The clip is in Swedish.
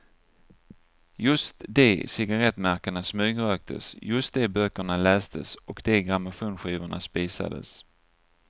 Just de cigarrettmärkena smygröktes, just de böckerna lästes och de grammofonskivorna spisades.